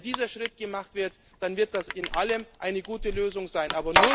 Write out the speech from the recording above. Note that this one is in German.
zuständig ist. Und wenn dieser Schritt gemacht wird, dann wird das alles in allem eine gute